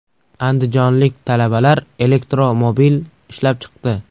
Andijonlik talabalar elektromobil ishlab chiqdi .